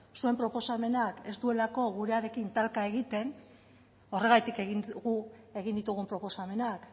zure proposamenak ez duelako gurearekin talka egiten horretatik egin dugu egin ditugun proposamenak